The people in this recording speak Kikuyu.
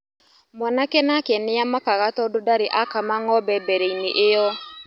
Mwanake nake nĩamakaga tondũ ndarĩ akama ng'ombe mbereinĩ iyo.